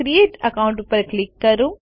create account ઉપર click કરો